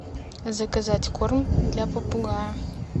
заказать корм для попугая